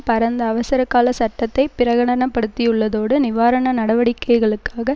பரந்த அவசரகால சட்டத்தை பிரகடனப்படுத்தியுள்ளதோடு நிவாரண நடவடிக்கைகளுக்காக